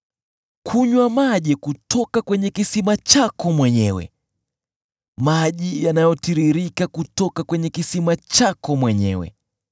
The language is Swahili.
Kunywa maji kutoka kwenye kisima chako mwenyewe, maji yanayotiririka kutoka kwenye kisima chako mwenyewe.